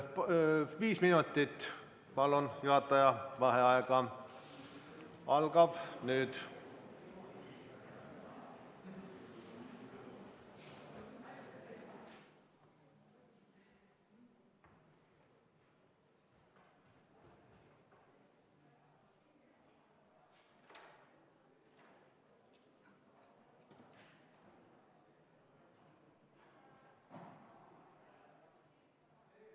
Palun viis minutit juhataja vaheaega, see algab nüüd.